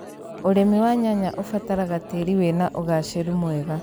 ũrĩmi wa nyanya ũbataraga tĩri wĩna ũgaacĩru mwega.